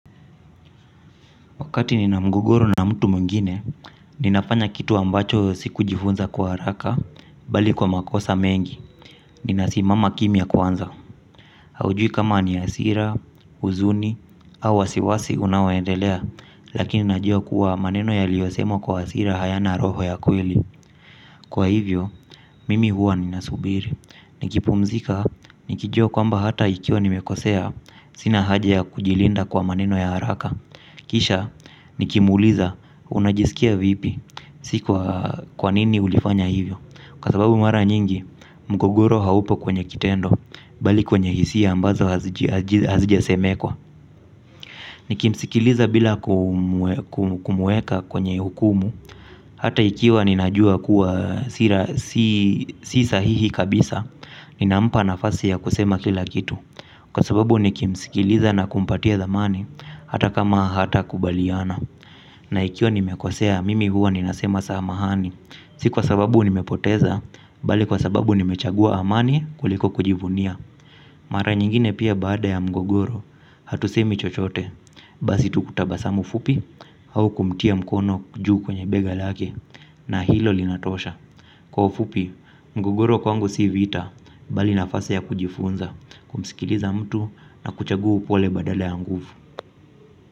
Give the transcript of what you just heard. Wakati nina mgogoro na mtu mwingine, ninafanya kitu ambacho sikujifunza kwa haraka, bali kwa makosa mengi: ninasimama kimya kwanza. Haujui kama ni hasira, huzuni, au wasiwasi vinavyoendelea, lakini unajua kuwa maneno yaliyosemwa kwa hasira hayana roho ya kweli. Kwa hivyo, mimi huwa ninasubiri. Nikipumzika, nikijua kwamba hata ikiwa nimekosea, sina haja ya kujilinda kwa maneno ya haraka. Kisha nikimuuliza, "Unajisikia vipi?" si "Kwa nini ulifanya hivyo?", kwa sababu mara nyingi mgogoro hauko kwenye kitendo bali kwenye hisia ambazo hazijasemwa. Nikimsikiliza bila kumueka kwenye hukumu. Hata ikiwa ninajua kuwa si sahihi kabisa, ninampa nafasi ya kusema kila kitu, kwa sababu nikimsikiliza na kumpatia thamani, hata kama hatukubaliana. Na ikiwa nimekosea, mimi huwa nasema samahani. Si kwa sababu nimepoteza, bali kwa sababu nimechagua amani kuliko kujivunia. Mara nyingine pia baada ya mgogoro, hatusemi chochote. Basi tu kutabasamu fupi au kumtia mkono juu kwenye bega lake, na hilo linatosha. Kwa ufupi mgogoro kwangu si vita. Bali nafasi ya kujifunza, kumsikiliza mtu na kuchagua upole badala ya nguvu.